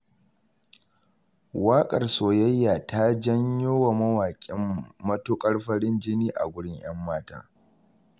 Waƙar soyayya ta janyowa mawaƙin matuƙar farin jini a gurin 'yan mata.